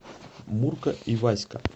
мурка и васька